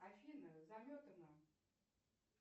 афина заметано